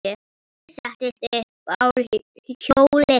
Ég settist upp á hjólið.